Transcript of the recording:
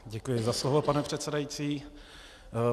Děkuji za slovo, pane předsedající.